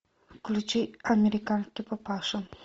включи американский папаша